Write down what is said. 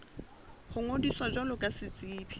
ho ngodisa jwalo ka setsebi